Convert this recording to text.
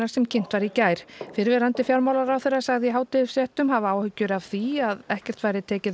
sem kynnt var í gær fyrrverandi fjármálaráðherra sagðist í hádegisfréttum hafa áhyggjur af því að ekkert væri tekið